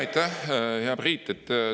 Aitäh, hea Priit!